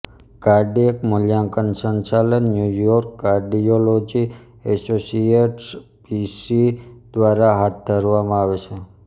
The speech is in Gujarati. કાર્ડિયેક મૂલ્યાંકન સંચાલન New York cardiology associates P C દ્વારા હાથ ધરવામાં આવે છે